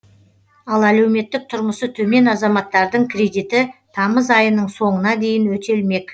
ал әлеуметтік тұрмысы төмен азаматтардың кредиті тамыз айының соңына дейін өтелмек